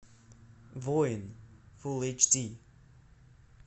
воин фул эйч ди